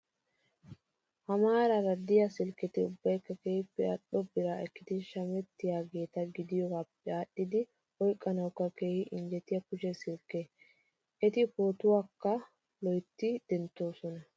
Ha maaraara diyaa silkketi ubbayikka keehippe al'o biraa ekkidi shamettiyaageeta gidiyoogaappe aadhdhidi oyiqqanawukka keehi injjetiyaa kushe silkketaa. Eti pootuwaakka loyitti denttoosona.